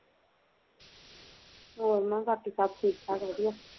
ਹੋਰ ਮੈਂ ਕਿਹਾਂ ਬਾਕੀ ਸਭ ਠੀਕ ਠਾਕ ਵਧੀਆ